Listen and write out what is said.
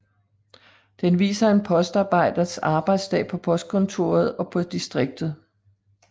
Den viser en postarbejders arbejdsdag på postkontoret og på distriktet